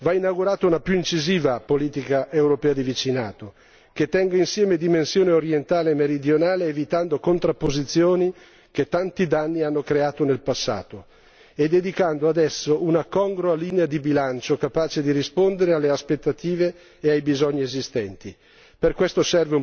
Insomma, va inaugurata una più incisiva politica europea di vicinato, che tenga insieme dimensione orientale e meridionale, evitando contrapposizioni che tanti danni hanno creato nel passato e dedicando adesso una congrua linea di bilancio, capace di rispondere alle aspettative e ai bisogni esistenti.